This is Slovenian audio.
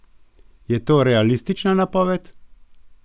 Je to realistična napoved?